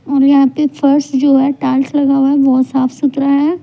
और यहां पे फर्श जो है टाइल्स लगाया हुआ है बहोत साफ सुथरा है.